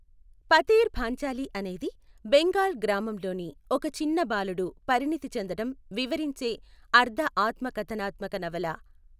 పథేర్ పాంచాలి అనేది బెంగాల్ గ్రామంలోని ఒక చిన్న బాలుడు పరిణితి చెందటం వివరించే అర్ధ ఆత్మకథనాత్మక నవల.